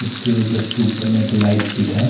उसके जस्ट ऊपर में एक लाइट फिट है।